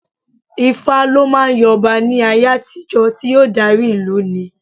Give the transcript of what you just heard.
Ifá lọ máa ń yan ọba ní ayé àtijó tí yóò dárí ìlú ní.